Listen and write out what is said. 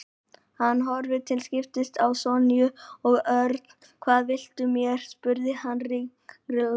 Hann horfði til skiptis á Sonju og Örn. Hvað viltu mér? spurði hann ringlaður.